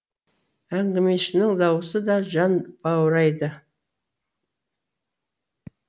әңгімешінің даусы да жан баурайды